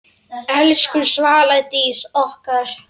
Elsku Svala Dís okkar.